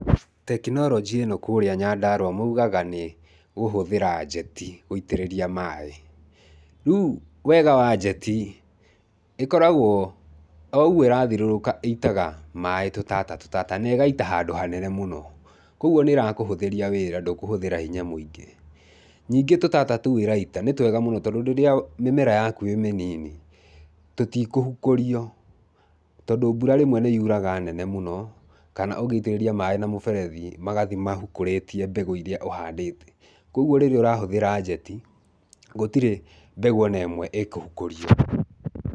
Tekinoronjĩ ĩno kũrĩa Nyandarua maugaga nĩ kũhũthĩra njeti gũitĩrĩria maaĩ. Rĩu wega wa njeti ĩkoragwo, o ũguo ĩrathirũrũka ĩitaga maaĩ tũtata tũtata na ĩgaita handũ hanene mũno. Kwoguo nĩ ĩrakũhũthiria wĩra, ndũkũhũthĩra hinya mũingĩ. Nyingĩ tũtata tũu ĩraita nĩ twega mũno tondũ rĩrĩa mĩmera yaku ĩ mĩnini, tũtikũhukũrio, tondũ mbura rĩmwe nĩ yuraga nene mũno kana ũngĩitĩrĩria maaĩ na mũberethi magathi mahukũrĩtie mbegũ iria ũhandĩte. Kwoguo rĩrĩa ũrahũthĩra njeti, gũtirĩ mbegũ o na ĩmwe ĩkũhukũrio.